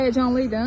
Həyəcanlıydın?